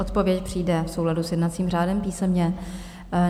Odpověď přijde v souladu s jednacím řádem písemně.